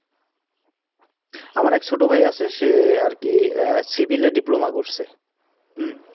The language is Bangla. আমার এক ছোট ভাই আছে সে আর কি Civil এ Diploma করছে,